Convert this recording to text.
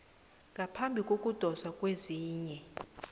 ngaphambi kokudoswa kwezinye